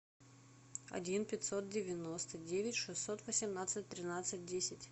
один пятьсот девяносто девять шестьсот восемнадцать тринадцать десять